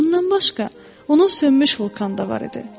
Bundan başqa, onun sönmüş vulkanı da var idi.